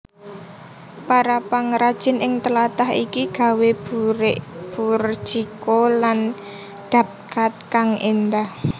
Para pangrajin ing tlatah iki gawéBurjiko lan Dabqaad kang éndah